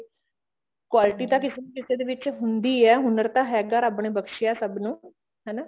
quality ਤਾਂ ਕਿਸੇ ਕਿਸੇ ਦੇ ਵਿੱਚ ਹੁੰਦੀ ਆ ਹੁਨਰ ਤਾਂ ਹੈਗਾ ਰੱਬ ਨੇ ਬਕਸ਼ਿਆ ਸਭ ਨੂੰ ਹਨਾ